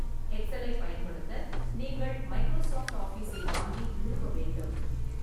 எக்ஸலைப் பயன்படுத்த நீங்கள் மைக்ரோசாஃப்ட் ஆஃபிஸை வாங்கி நிறுவ வேண்டும்.